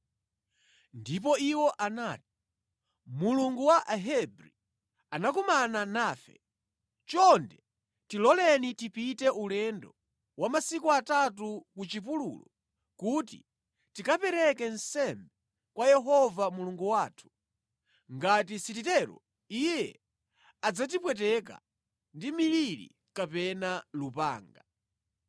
Ndipo iwo anati, “Mulungu wa Ahebri anakumana nafe. Chonde tiloleni tipite ulendo wa masiku atatu ku chipululu kuti tikapereke nsembe kwa Yehova Mulungu wathu, ngati sititero iye adzatipweteka ndi miliri kapena lupanga.”